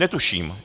Netuším.